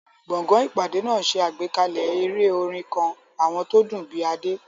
Gbọ̀ngàn ìpàdé náà ṣe àgbékalẹ̀ eré orin kan, àwọn tó dùn bíi Ade.